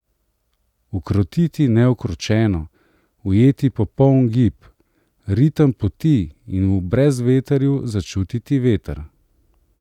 Ukrotiti neukročeno, ujeti popoln gib, ritem poti in v brezvetrju začutiti veter.